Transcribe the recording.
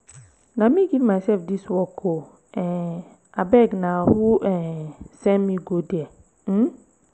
na me give myself dis work ooo um abeg na who um send me go there? um